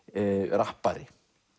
rappari